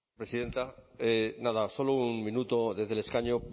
presidenta nada solo un minuto desde el escaño